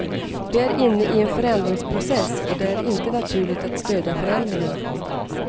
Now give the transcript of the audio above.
Vi är inne i en förändringsprocess och det är inte naturligt att stödja förändringar.